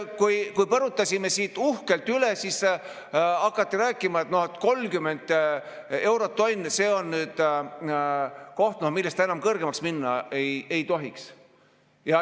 Kui põrutasime sealt uhkelt üle, siis hakati rääkima, et 30 eurot tonn, see on koht, millest ta enam kõrgemaks minna ei tohiks.